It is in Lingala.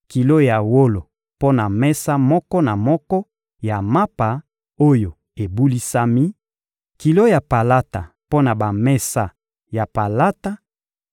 kilo ya wolo mpo na mesa moko na moko ya mapa oyo ebulisami, kilo ya palata mpo na bamesa ya palata;